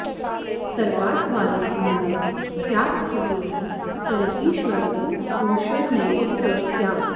सर्वार्थवान्यदि न स्यात्खगेन्द्र तर्हीश्वरः पुरुषो नैव स स्यात्